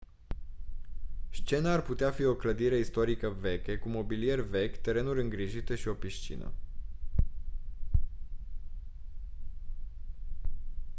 scena ar putea fi o clădire istorică veche cu mobilier vechi terenuri îngrijite și o piscină